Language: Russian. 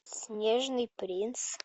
снежный принц